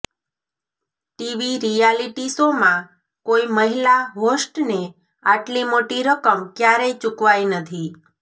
TV reality શોમાં કોઈ મહિલા હોસ્ટને આટલી મોટી રકમ ક્યારેય ચુકવાઈ નથી